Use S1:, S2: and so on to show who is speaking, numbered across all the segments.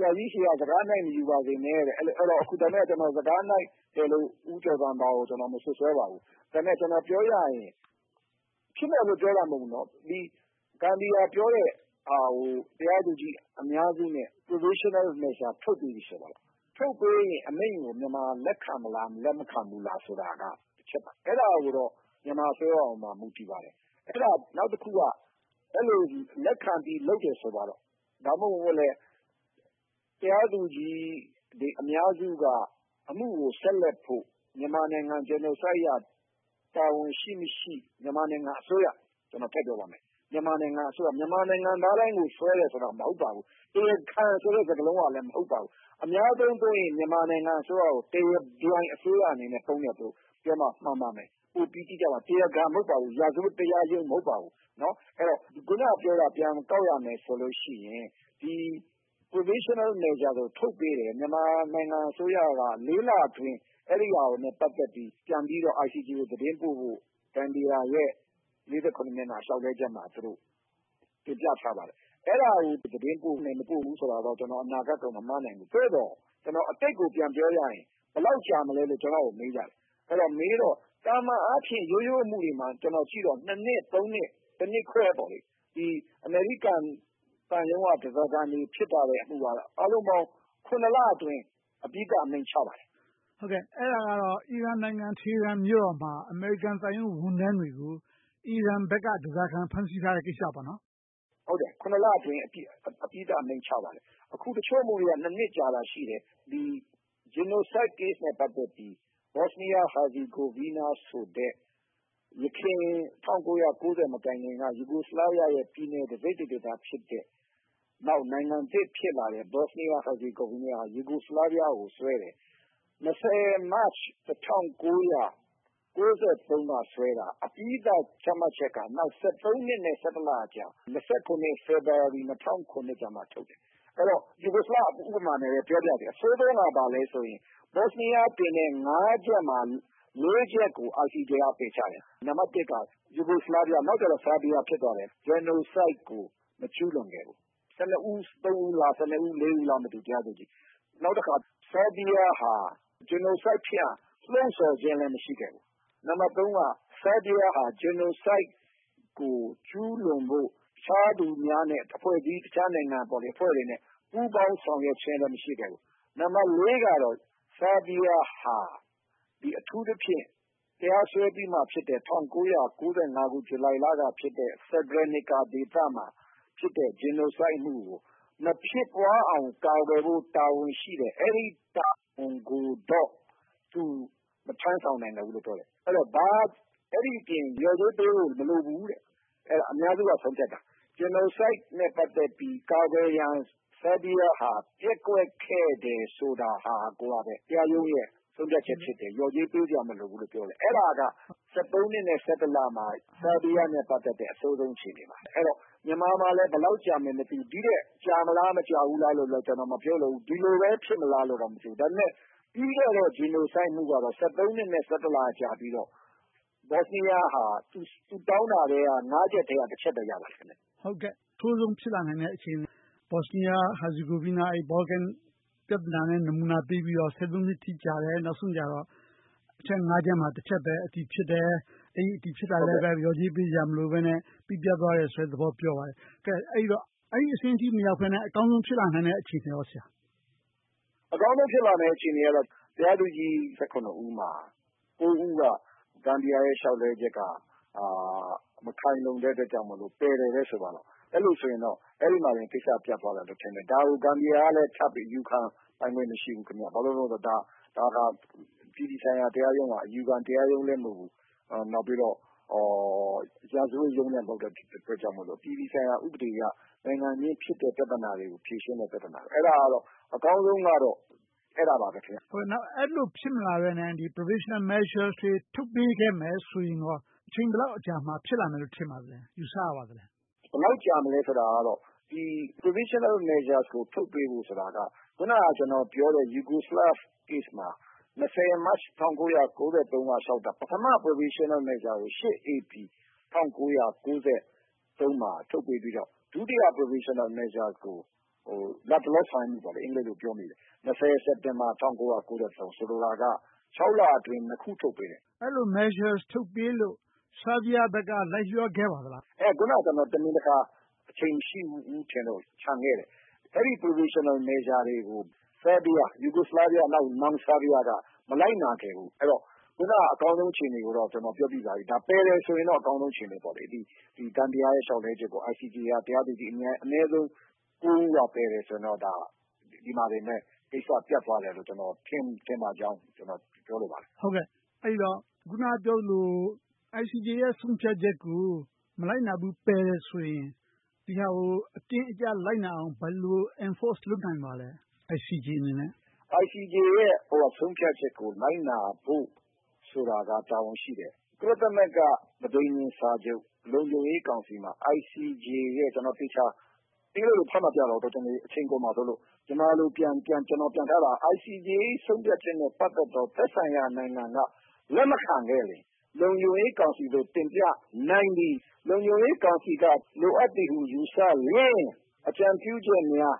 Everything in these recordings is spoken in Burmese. S1: ရာကြီးဆီက စကားနှိုက်မယူပါစေနဲ့။ အခုတော့ စကားနှိုက်တယ်လို့ ဦးကျော်ဇံသာကို မစွပ်စွဲလိုပါဘူး။ ဒါပေမဲ့ ပြောရရင် ဖြစ်မယ်လို့ ပြောတာမဟုတ်ဘူးနော်။ ဂမ်ဘီယာ ပြောတဲ့ဟာကို တရားသူကြီး အများစုနဲ့ Provisional Measures ထုတ်ပေးပြီ ဆိုပါစို့။ ထုတ်ပေးရင် မြန်မာက လက်ခံမလား၊ လက်မခံဘူးလားဆိုတာက တစ်ချက်ပါ။ အဲဒါကတော့ မြန်မာအစိုးရပေါ် မူတည်ပါတယ်။ နောက်တစ်ခုက အဲဒီလို လက်ခံပြီး လုပ်တယ်ဆိုပါတော့၊ ဒါမှမဟုတ် တရားသူကြီးအများစုက အမှုကို ဆက်လက်ဖို့ မြန်မာနိုင်ငံကို Genocide အရ တာဝန်ရှိ၊မရှိ။ မြန်မာနိုင်ငံအစိုးရ - ဒါကို ကျနော်ထည့်ပြောပါမယ် - မြန်မာနိုင်ငံသားတိုင်းကို စွဲတယ်ဆိုတာ မဟုတ်ပါဘူး။ တရားခံဆိုတဲ့ စကားလုံးကလည်း မဟုတ်ပါဘူး။ အများသုံးသုံးရင် မြန်မာနိုင်ငံအစိုးရကို တရားပြိုင်အစိုးရအနေနဲ့ သုံးတယ်လို့ပြောမှ မှန်ပါမယ်။ ပိုပြီးတိကျပါမယ်။ တရားခံ မဟုတ်ပါဘူး။ ရာဇဝတ်တရားရုံး မဟုတ်ပါဘူး။ အခုနပြောတာကို ပြန်ကောက်ရမယ်ဆိုရင် Provisional Measures ကို ထုတ်ပေးတယ်။ မြန်မာနိုင်ငံအစိုးရက လအတွင်း အဲဒါနဲ့ ပတ်သက်ပြီး ပြန်ပြီးတော့ ICJ ကို သတင်းပို့ဖို့ ဂမ်ဘီယာရဲ့ မျက်နှာ လျှောက်လွှဲချက်မှာ တင်ပြထားပါတယ်။ အဲဒါကို သတင်းပို့မယ်၊ မပို့ဘူးဆိုတာတော့ ကျနော်အနေနဲ့ အနာဂတ်ကိုတော့ မမှန်းနိုင်ဘူး။ သို့သော် အတိတ်ကို ပြန်ပြောရရင် ဘယ်လောက်ကြာမလဲလို့ ကျနော့်ကို မေးကြတယ်။ မေးတော့ - သာမန်အားဖြင့် ရိုးရိုးအမှုတွေကို ကျနော်ကြည့်တော့ နှစ်၊ နှစ်၊ နှစ်ခွဲ - အမေရိကန်သံရုံးက ဓါးစားခံတွေဖြစ်တဲ့ အမှုက အားလုံးပေါင်း လအတွင်း အဓိကအမိန့်ချပါတယ်
S2: ။ မေး ။ ။ အဲဒါကတော့ အီရန်နိုင်ငံ Iran Tehran မြို့တော်မှာ အမေရိကန်သံရုံး ဝန်ထမ်းတွေကို အီရန်ဘက်က ဓါးစားခံ ဖမ်းဆီးထားတဲ့ ကိစ္စလား။ ဖြေ
S1: ။ ။ ဟုတ်ပါတယ်။ လအတွင်း အပြီးသတ် အမိန့်ချပါတယ်။ အခု တချို့အမှုတွေက နှစ်ကြာတာ ရှိပါတယ်။ ဒီ Genocide Case နဲ့ ပတ်သက်ပြီး Bosnia–Herzegovina ဆိုပြီး ယခင် ၁၉၉၀ မတိုင်ခင်က Yugoslavia ရဲ့ ပြည်နယ်တစိတ်တဒေသဖြစ်တဲ့၊ နောက် နိုင်ငံသစ်ဖြစ်လာတဲ့ Bosnia–Herzegovina က Yugoslavia ကို စွဲတယ်။ ၂၀ မတ်လ ၁၉၉၃ က တရားစွဲတာ အပြီးသတ်ချမှတ်ချက်က နောင် နှစ်နဲ့ လကြာ ၂၇ နှစ်၊ ဖေဖေါ်ဝါရီလ ၂၀၀၇ ကျမှ ထုတ်တယ်။ အဲဒီတော့ Yugoslavia ဥပမာနဲ့ပဲ ပြောပါရစေ။ အဆိုးဆုံးက ဘာလဲဆိုရင် Bosina တင်တဲ့ ချက်မှာ ချက်ကို ICJ က ပယ်ချတယ်။ နံပတ်တစ်က Yugoslavia၊ နောက်ကျတော့ Serbia ဖြစ်သွားတယ်။ Genocide ကို မကျူးလွန်ခဲ့ဘူး။ တရားသူကြီးက ကနဦး ဦးလား၊ ဦးလား မသိဘူး။ နောက်တခါ Serbia ဟာ Genocide ဖြစ်အောင် လှုံဆော်ခြင်းလည်း မရှိခဲ့ဘူး။ Serbia ဟာ Genocide ကို ကျူးလွန်ဖို့ တခြားသူများနဲ့ တခြားနိုင်ငံများနဲ့ ပူးပေါင်းဆောင်ရွက်ခြင်းလည်း မရှိခဲ့ဘူး။ Serbia ဟာ အထူးသဖြင့် တရားစွဲပြီးမှဖြစ်တဲ့ ၁၉၉၅ ဇူလိုင်လကဖြစ်တဲ့ Srebrenica ဒေသမှာ ဖြစ်တဲ့ Genocide အမှုကို မဖြစ်ပွားအောင် ကာကွယ်ဖို့ တာဝန်ရှိတဲ့ အဲဒီတာဝန်ကိုတော့ သူမထမ်းဆောင်နိုင်ခဲ့ဘူးလို့ ပြောတယ်။ အဲဒီတော့ အဲဒီအပြင် လျော်ကြေးပေးဖို့ မလိုဘူး။ အများစုက ဆုံးဖြတ်တာ။ Genocide နဲ့ ပတ်သက်ပြီး ကာကွယ်ရန် Serbia ဟာ ပျက်ကွက်ခဲ့တယ်ဆိုတာကပဲ တရားရုံးရဲ့ ဆုံးဖြတ်ချက်ဖြစ်တယ်။ လျော်ကြေးပေးစရာ မလိုဘူးလို့ ပြောတယ်။ အဲဒါက နှစ်နဲ့ လမှာ Serbia နဲ့ ပတ်သက်တဲ့ အဆိုးဆုံးအခြေအနေပါ။ မြန်မာမှာလဲ ဘယ်လောက်ကြာမလဲ မသိဘူး။ ဒီထက် ကြာမလား၊ မကြာဘူးလား ကျနော်မပြောလိုဘူး။ ဒီလိုများ ဖြစ်မလာတော့ မထင်ဘူး။ ဒါပေမဲ့ ပြီးခဲ့တဲ့ Genocide အမှုကတော့ နှစ်နဲ့ ကြာပြီးတော့ Bosnia ဟာ သူတောင်းတဲ့ ချက်ထဲက ချက်ပဲ ရပါတယ်။ မေး ။ ။ အ
S2: ဆိုးဆုံး ဖြစ်လာနိုင်တဲ့ အခြေအနေ - Bosnia–Herzegovina Balkan ပြဿနာနဲ့ နမူနာပေးပြီးတော့ နှစ်အထိ ကြာတယ်။ နောက်ဆုံးကြတော့ အချက် ချက်မှာ ချက်ပဲ ဖြစ်တယ်။ အဲဒီအထိဖြစ်တာလဲ လျော်ကြေးပေးစရာ မလိုဘဲနဲ့ ပြီးပြတ်သွားတယ်ဆိုတဲ့သဘော ပြောပါတယ်။ အဲဒီတော့ အဲဒီအဆင့်အထိ မရောက်ဘဲနဲ့ အကောင်းဆုံး ဖြစ်လာနိုင်တဲ့ အခြေအနေကော ရှိလား။ ဖြ
S1: ေ ။ ။ အကောင်းဆုံး ဖြစ်လာနိုင်တဲ့ အခြေအနေကတော့ တရားသူကြီး ဦးမှာ ဦးက ဂမ်ဘီယာရဲ့ လျှောက်လွှဲချက်က မခိုင်လုံတဲ့အတွက်ကြောင့်မို့ ပယ်တယ်ဆိုပါတော့၊ အဲဒီလိုဆိုရင်တော့ အဲဒီမှာတင် ကိစ္စပြတ်သွားမယ်လို့ ထင်တယ်။ ဒါကို ဂမ်ဘီယာကလည်း ထပ်ပြီးအယူခံပိုင်ခွင့် မရှိဘူး။ ဘာဖြစ်လို့လဲဆိုတော့ ဒါက အပြည်ပြည်ဆိုင်ရာ တရားရုံးက အယူခံတရားရုံးလည်း မဟုတ်ဘူး။ နောက်ပြီးတော့ ရာဇဝတ်ရုံးလည်း မဟုတ်တဲ့အတွက်ကြောင့်မို့ အပြည်ပြည်ဆိုင်ရာ ဥပဒေအရ နိုင်ငံချင်း ဖြစ်တဲ့ပြဿနာတွေကို ဖြေရှင်းတဲ့ပြဿနာ။ အဲဒါကတော့ အကောင်းဆုံးကတော့ အဲဒါပါပဲ။ မေး
S2: ။ ။ နောက် အဲဒီလိုဖြစ်မလာဘဲနဲ့ Provisional Measures ထုတ်ပေးခဲ့မယ်ဆိုရင်ကော အချိန်ဘယ်လောက်အကြာမှာ ဖြစ်လာလိမ့်မယ်လို့ ထင်ပါသလဲ။ ယူဆပါလဲ။
S1: ဖြေ ။ ။ ဘယ်လောက်ကြာမလဲဆိုတာတော့ Provisional Measures ကို ထုတ်ပေးဖို့ ဆိုတာက အခုန ကျနော်ပြောတဲ့ Yugoslavia Case မှာ ၂၀ မတ် ၁၉၉၃ က လျှောက်တာ ပထမ Provisional Measures ကို ၈ ဧပြီ ၁၉၉၃ မှာ ထုတ်ပေးပြီးတော့ ဒုတိယ Provisional Measures ကို လတ်တလော ဆောင်ရွက်မှု အင်္ဂလိပ်လိုပြောမိတယ်။ ၂၀ စက်တင်ဘာ ၁၉၉၃ ဆိုလိုတာက လအတွင်း နှစ်ခု ထုတ်ပေးတယ်။ မေ
S2: း ။ ။ အဲဒီလို Measures ထုတ်ပေးလို့ Serbia ဘက် လိုက်လျောခဲ့ပါသလား။ ဖ
S1: ြေ ။ ။ အခုနက တမင်တကာ အချိန်မရှိဘူးလို့ ချန်ခဲ့တယ်။ အဲဒီ Provisional Measures တွေကို Yugoslavia နောက် ဖြစ်လာတဲ့ Serbia က မလိုက်နာခဲ့ဘူး။ အခုန အကောင်းဆုံးအခြေအနေကိုတော့ ပြောပြီးပါပြီ။ ပယ်တယ်ဆိုရင်တော့ အကောင်းဆုံး အခြေအနေပေါ့။ ဂမ်ဘီယာရဲ့ လျှောက်လွှဲချက်က တရားသူကြီး အနည်းဆုံး ဦးက ပယ်တယ်ဆိုရင်တော့ ဒီမှာတင် ကိစ္စက ပြတ်သွားမယ်လို့ ထင်ပါကြောင်း ပြောလိုပါတယ်။ မေး ။ ။ အ
S2: ဲဒီတော့ အခုနပြောသလို ICJ ရဲ့ ထုတ်ပြန်ချက်ကို မလိုက်နာဘူး၊ ပယ်တယ်ဆိုရင် ဒီဟာကို အတင်းအကျပ် လိုက်နာအောင် ဘယ်လို Enforce လုပ်နိုင်ပါလဲ။ ICJ အနေနဲ့
S1: ။ ဖြေ ။ ။ ICJ ရဲ့ ဆုံးဖြတ်ချက်ကို လိုက်နာဖို့ဆိုတာက တာဝန်ရှိတယ်။ ကုလသမဂ္ဂ ပဌိငြင်… စာချုပ် လုံခြုံရေးကောင်စီမှာ ICJ ရဲ့ ကျနော် အင်္ဂလိပ်လို ဖတ်မပြတော့ဘူး၊ တော်ကြာနေ အချိန်ကုန်မှာဆိုလို့။ မြန်မာလို ပြန်ထားတာက ICJ ရဲ့ ဆုံးဖြတ်ချက်နဲ့ ပတ်သက်သော သက်ဆိုင်ရာနိုင်ငံက လက်မခံခဲ့ရင် လုံခြုံရေးကောင်စီသို့ တင်ပြနိုင်မည်။ လုံခြုံရေးကောင်စီက လိုအပ်သည်ဟု ယူဆလျှင် အကြံပြုချက်များ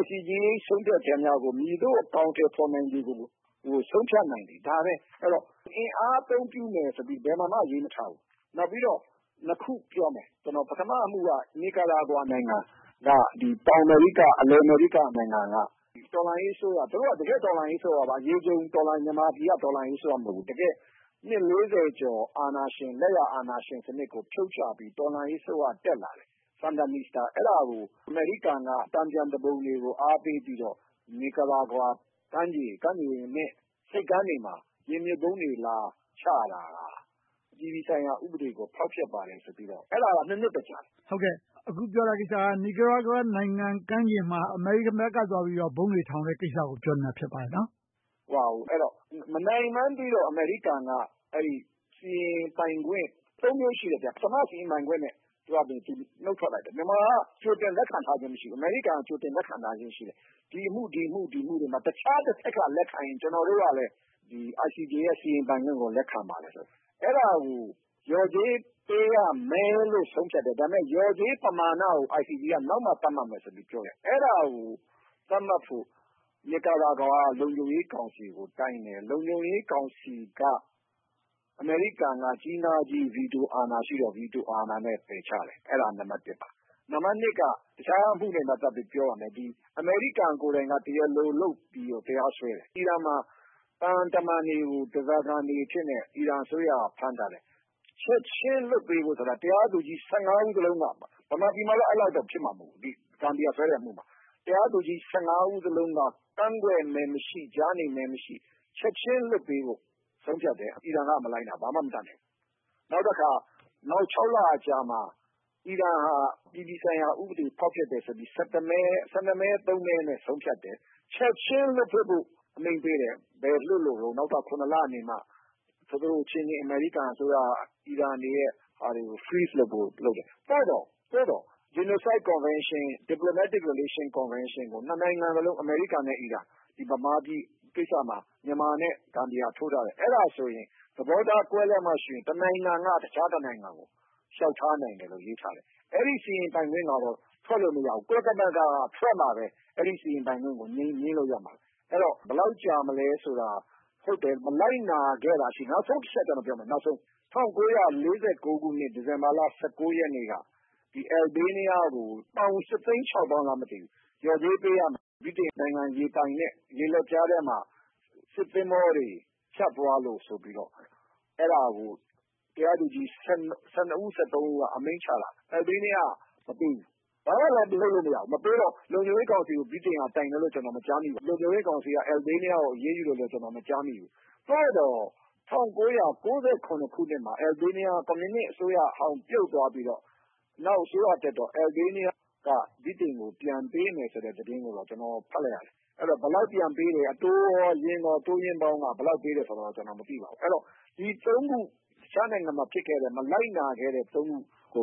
S1: ICJ ၏ ဆုံးဖြတ်ချက်များကို မည်သို့အကောင်အထည်ဖော်နိုင်မည်ကို ဆုံးဖြတ်နိုင်သည်။ ဒါပဲ။ အဲဒီတော့ အင်အားအသုံးပြုမယ်ဆိုပြီး ဘယ်မှာမှ မရေးထားဘူး။ နောက်ပြီးတော့ နှစ်ခု ပြောမယ်။ ပထမအမှုက Nicaragua နိုင်ငံ၊ တောင်အမေရိက၊ အလယ်ပိုင်းနိုင်ငံက တော်လှန်ရေးအစိုးရ၊ တကယ့်တော်လှန်ရေးအစိုးရ၊ အရေခြုံတော်လှန်ရေး၊ မြန်မာနိုင်ငံက တော်လှန်ရေးအစိုးရ မဟုတ်ဘူး။ တကယ့်ကို နှစ် ကျော်ကြာ လက်ယာအာဏာရှင်စနစ်ကို ဖြုတ်ချပြီး တော်လှန်ရေးအစိုးရ တက်လာတယ်။ အဲဒါကို အမေရိကန်က တန်ပြန်သူပုန်တွေကို အားပေးပြီးတော့ Nicaragua ကမ်းခြေနဲ့ ဆိပ်ကမ်းတွေမှာ ရေမြုပ်ဗုံးတွေ လာချတာ၊ အပြည်ပြည်ဆိုင်ရာ ဥပဒေကို ဖောက်ဖျက်ပါတယ်ဆိုပြီး စွဲဆိုတာ၊ နှစ်ကြာတယ်။
S2: မေး ။ ။ အဲဒီကိစ္စက Nicaragua နိုင်ငံကမ်းခြေမှာ အမေရိကန်ဘက်က သွားပြီးတော့ ဗုံးတွေသွားထောင်တဲ့ ကိစ္စကို ပြောနေတာ ဖြစ်ပါတယ်နော်။
S1: ဖြေ ။ ။ ဟုတ်ပါတယ်။ မနိုင်မှန်သိတော့ အမေရိကန်က အဲဒီစီရင်ပိုင်ခွင့် မျိုး ရှိတယ်။ ပထမစီရင်ပိုင်ခွင့်နဲ့ သူဘာသာသူ နုတ်ထွက်လိုက်တယ်။ မြန်မာက ကြိုတင်လက်ခံထားခြင်း မရှိဘူး။ အမေရိကန်က ကြိုတင်လက်ခံထားခြင်း ရှိတယ်။ ဒီအမှုတွေမှာ တခြားတဘက်က လက်ခံရင် ကျနော်တို့ကလည်း ICJ ရဲ့ စီရင်ပိုင်ခွင့်ကို လက်ခံပါတယ်လို့။ အဲဒါကို လျော်ကြေးပေးရမယ်လို့ ဆုံးဖြတ်တယ်။ ဒါပေမဲ့ လျော်ကြေးပမာဏကို ICJ က နောက်မှသတ်မှတ်မယ်လို့ ပြောတယ်။ အဲဒါကို သတ်မှတ်ဖို့ Nicaragua က လုံခြုံရေးကောင်စီကို တိုင်တယ်။ လုံခြုံရေးကောင်စီက အမေရိကန်က ကြီးငါးကြီး ဗီတိုအာဏာရှိတော့ ဗီတိုအာဏာနဲ့ ပယ်ချတယ်။ အဲဒါက နံပတ်တစ်ပါ။ နံပတ်နှစ်က အခြားအမှုနဲ့ ပတ်သက်ပြီး ပြောပါမယ်။ အမေရိကန်ကိုယ်တိုင်က တရားလိုလုပ်ပြီးတော့ တရားစွဲတယ်။ အီရန်မှာ သံတမန်တွေကို ဓါးစားခံတွေအဖြစ်နဲ့ အီရန်အစိုးရ ဖမ်းထားတယ်။ ချက်ချင်းလွှတ်ပေးဖို့ တရားသူကြီး ဦးစလုံးက ဗမာပြည်မှာတော့ အဲဒီလောက်တော့ ဖြစ်မှာမဟုတ်ဘူး။ ဂမ်ဘီယာစွဲတဲ့အမှုမှာ။ တရားသူကြီး ဦးစလုံးက ကန့်ကွက်မဲမရှိ၊ ကြားနေမဲမရှိ၊ ချက်ချင်းလွှတ်ပေးဖို့ ဆုံးဖြတ်တယ်။ အီရန်က မလိုက်နာဘူး။ ဘာမှမတတ်နိုင်ဘူး။ နောက်တခါ နောက် လအကြာမှာ အီရန်က အပြည်ပြည်ဆိုင်ရာဥပဒေ ဖောက်ဖျက်တယ်ဆိုပြီး မဲ မဲနဲ့ ဆုံးဖြတ်တယ်။ ချက်ချင်းလွှတ်ပေးဖို့ အမိန့်ပေးခဲ့တယ်။ ဘယ်မှာလွှတ်လို့လဲ။ နောက်ထပ် လနေမှ သူတို့အချင်းချင်း အမေရိကန်အစိုးရက အီရန်တွေရဲ့လူတွေကို လွှတ်ပေးလို့ လွှတ်ဖို့လုပ်တယ်။ သို့သော် Genocide Convention – Diplomatic Relation Convention ကို နှစ်နိုင်ငံစလုံး အမေရိကန်နဲ့ အီရန်။ မြန်မာပြည်ကိစ္စမှာ မြန်မာနဲ့ ဂမ်ဘီယာတို့ ထိုးထားတယ်။ အဲဒါဆို သဘောထားကွဲလွဲမှရှိရင် တနိုင်ငံက တခြားတနိုင်ငံကို လျှောက်ထားနိုင်တယ်လို့ ရေးထားတယ်။ အဲဒီ စီရင်ပိုင်ခွင့်ကတော့ ထွက်လို့မရဘူး။ ကုလသမဂ္ဂမှ ထွက်မှပဲ အဲဒီစီရင်ပိုင်ခွင့်ကို ငြင်းလို့ရမှာ။ အဲဒီတော့ ဘယ်လောက်ကြာမလဲဆိုတာ - မလိုက်နာခဲ့တာရှိတယ်။ နောက်ဆုံးတချက် ကျနော်ပြောမယ် - ၁၉၄၉ ခုနှစ် ဒီဇင်ဘာလ ရက်နေ့က Albania ကို ပေါင် ရှစ်သိန်းခြောက်သောင်းလား မသိဘူး၊ လျော်ကြေးပေးရမှာ - ဗြိတိန်နိုင်ငံ ရေပိုင်နက် ရေလက်ကြားထဲမှာ စစ်သင်္ဘောတွေ ဖြတ်သွားလို့ဆိုပြီးတော့ အဲဒါကို တရားသူကြီး ဦး၊ ဦးက အမိန့်ချတာ၊ Albania က မပေးဘူး။ ဘာမှလဲ လုပ်လို့မရဘူး။ မပေးတော့ လုံခြုံရေးကောင်စီကို ဗြိတိန်က တိုင်တယ်လို့ ကျနော် မကြားမိပါဘူး။ လုံခြုံရေးကောင်စီကလည်း Albania ကို အရေးယူတယ်လို့လဲ မကြားမိဘူး။ သို့သော် ၁၉၉၇ ခုနှစ်မှာ Albania က ကွန်မြူနစ်အစိုးရဟောင်း ပြုတ်သွားပြီးတော့ နောက်အစိုးရတက်တော့ Albania က ဗြိတိန်ကို ပြန်ပေးမယ်ဆိုတဲ့ သတင်းကိုတော့ ကျနော် ဖတ်လိုက်ရတယ်။ ဘယ်လောက်ပြန်ပေးတယ်၊ အတိုးကော၊ အရင်းကော၊ အတိုးအရင်းပေါင်း ဘယ်လောက်ပေးတယ်ဆိုတာတော့ ကျနော် မသိပါဘူး။ အဲဒီတော့ ဒီ ခု - တခြားနိုင်ငံမှာ ဖြစ်ခဲ့တဲ့ မလိုက်နာခဲ့တဲ့ ခုကိုပဲ